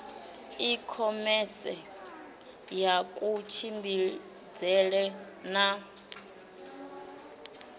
i khomese ya kutshimbidzele na